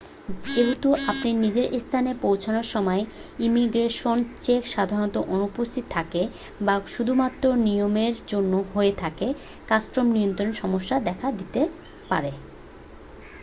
যেহেতু আপনি নিজের স্থানে পৌঁছানোর সময় ইমিগ্রেশন চেক সাধারণত অনুপস্থিত থাকে বা শুধুমাত্র নিয়মের জন্য হয়ে থাকে কাস্টম নিয়ন্ত্রণে সমস্যা দেখা দিতে পারে